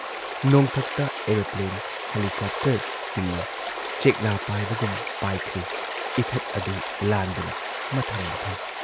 ꯅꯣꯡꯊꯛꯇ aeroplane, ꯍꯦꯂꯤꯀꯣꯞꯇꯔꯁꯤꯡꯅ ꯆꯦꯛꯂꯥ ꯄꯥꯏꯕꯒꯨꯝ ꯄꯥꯏꯈ꯭ꯔꯤ ꯏꯊꯠ ꯑꯗꯨ ꯂꯥꯟꯗꯨꯅ ꯃꯊꯪ ꯃꯊꯪ ꯫